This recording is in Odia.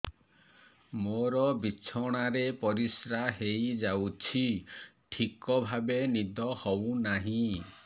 ମୋର ବିଛଣାରେ ପରିସ୍ରା ହେଇଯାଉଛି ଠିକ ଭାବେ ନିଦ ହଉ ନାହିଁ